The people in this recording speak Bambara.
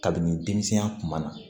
Kabini denmisɛnya kuma na